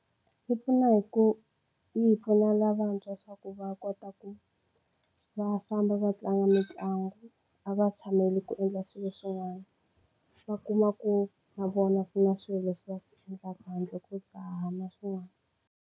Yi pfuna hi ku yi hi pfuna lavantshwa swa ku va kota ku va famba va tlanga mitlangu a va tshameli ku endla swilo swin'wana. Va kuma ku na vona ku na swilo leswi va swi endlaka handle ko dzaha na swin'wana.